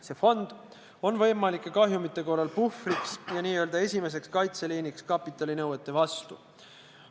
See fond on võimalike kahjumite korral puhvriks ja n-ö esimeseks kaitseliiniks kapitalinõuete vastu.